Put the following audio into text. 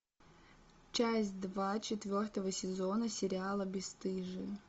часть два четвертого сезона сериала бесстыжие